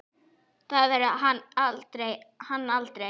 Það verður hann aldrei.